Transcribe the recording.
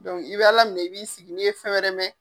i be Ala minɛ i b'i sigi n'i ye fɛn wɛrɛ mɛn.